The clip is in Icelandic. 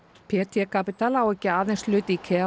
p t Capital á ekki aðeins hlut í